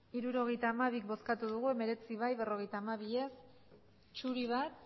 hirurogeita hamabi eman dugu bozka hemeretzi bai berrogeita hamabi ez bat zuri